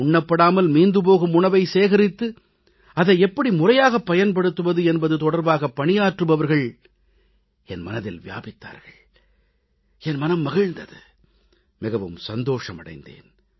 உண்ணப்படாமல் மீந்து போகும் உணவை சேகரித்து அதை எப்படி முறையாகப் பயன்படுத்துவது என்பது தொடர்பாக பணியாற்றுபவர்கள் என் மனதில் வியாபித்தார்கள் என் மனம் குளிர்ந்த்து மிகவும் மகிழ்ச்சி அடைந்தேன்